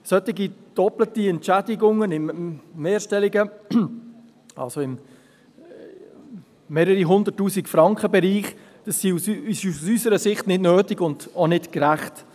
Solche doppelte Entschädigungen im Bereich von mehreren hunderttausend Franken sind aus unserer Sicht nicht nötig und auch nicht gerecht.